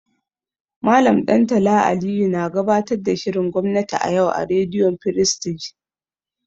Mallam Ɗantala Aliyu na gabatar da shirin gwamnati a yau a rediyo firistij.